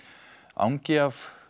angi af